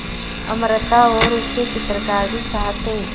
अमृता और उसके चित्रकार भी साथ थे